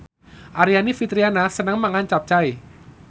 Aryani Fitriana seneng mangan capcay